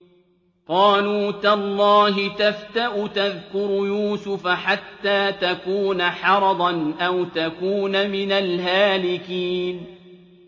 قَالُوا تَاللَّهِ تَفْتَأُ تَذْكُرُ يُوسُفَ حَتَّىٰ تَكُونَ حَرَضًا أَوْ تَكُونَ مِنَ الْهَالِكِينَ